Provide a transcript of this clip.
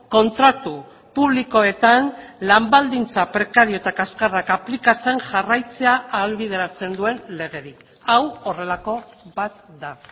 kontratu publikoetan lan baldintza prekario eta kaskarrak aplikatzen jarraitzea ahalbideratzen duen legerik hau horrelako bat da